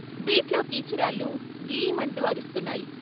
బీట్లో కీచురాళ్ళు ' గీ ' మంటూ అరుస్తున్నాయి.